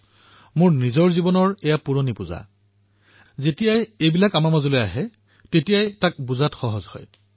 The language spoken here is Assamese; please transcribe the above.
আমাৰ নিজৰ জীৱনৰ যি পুৰণি টালিটোপোলা আছে যেতিয়া সেয়া মাজলৈ নাহে তেতিয়া কাৰোবাক বুজি পোৱাটো সহজ হৈ পৰে